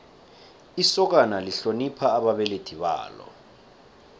isokana lihlonipha ababelethi balo